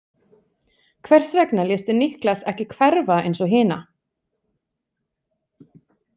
Hvers vegna léstu Niklas ekki hverfa eins og hina?